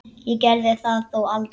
Ég gerði það þó aldrei.